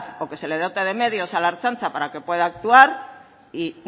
o que se le dote de medios a la ertzaintza para que pueda actuar y